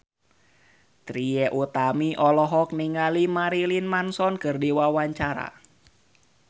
Trie Utami olohok ningali Marilyn Manson keur diwawancara